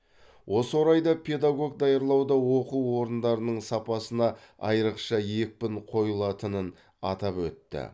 осы орайда педагог даярлауда оқу орындарының сапасына айрықша екпін қойылатынын атап өтті